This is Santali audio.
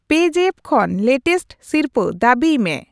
ᱯᱮᱡᱟᱯᱯ ᱠᱷᱚᱱ ᱞᱮᱴᱮᱥᱴ ᱥᱤᱨᱯᱟᱹ ᱫᱟᱹᱵᱤᱭ ᱢᱮ ᱾